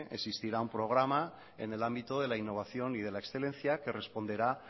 existirá un programa en el ámbito de la innovación y de la excelencia que responderá